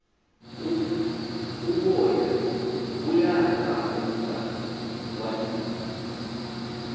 uboya buyarawuka walithi